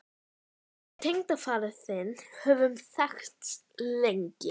Við tengdafaðir þinn höfum þekkst lengi.